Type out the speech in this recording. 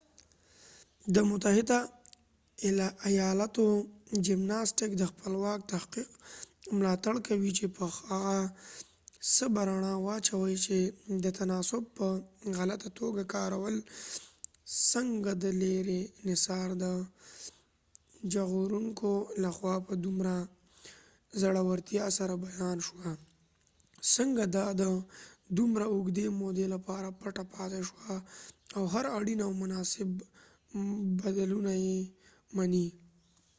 د متحده ایالاتو جمناسټیک د خپلواک تحقیق ملاتړ کوي چې په هغه څه به رڼا واچوي چې د تناسب په غلطه توګه کارول څنګه د لیري نصار د ژغورونکو لخوا په دومره زړورتیا سره بیان شوه څنګه دا د دومره اوږدې مودې لپاره پټه پاتې شوه او هر اړین او مناسب بدلونونه مني